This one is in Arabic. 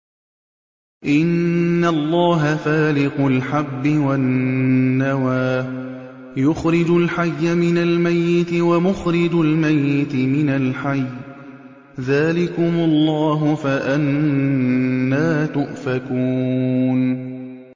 ۞ إِنَّ اللَّهَ فَالِقُ الْحَبِّ وَالنَّوَىٰ ۖ يُخْرِجُ الْحَيَّ مِنَ الْمَيِّتِ وَمُخْرِجُ الْمَيِّتِ مِنَ الْحَيِّ ۚ ذَٰلِكُمُ اللَّهُ ۖ فَأَنَّىٰ تُؤْفَكُونَ